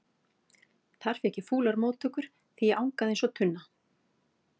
Þar fékk ég fúlar móttökur því ég angaði eins og tunna.